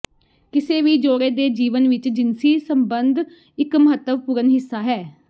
ਕਿਸੇ ਵੀ ਜੋੜੇ ਦੇ ਜੀਵਨ ਵਿੱਚ ਜਿਨਸੀ ਸਬੰਧ ਇੱਕ ਮਹੱਤਵਪੂਰਨ ਹਿੱਸਾ ਹਨ